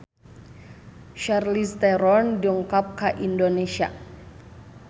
Charlize Theron dongkap ka Indonesia